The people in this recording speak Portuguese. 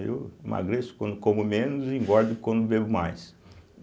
Eu emagreço quando como menos e engordo quando bebo mais.